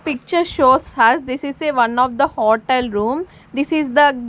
Picture shows has this is a one of the hotel room this is the--